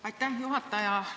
Aitäh, juhataja!